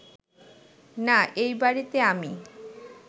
না, এই বাড়িতে আমি